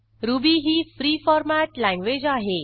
ruby ही free format language आहे